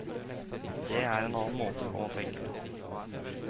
Det er en annen måte å tenke på.